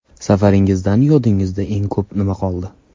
Safaringizdan yodingizda eng ko‘pi nima qoldi?